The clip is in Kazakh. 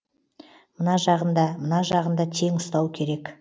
мына жағын да мына жағын да тең ұстау керек